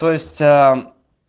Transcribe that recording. то есть а